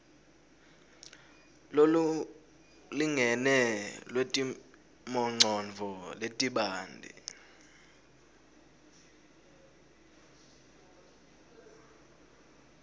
lolulingene lwetimongcondvo letibanti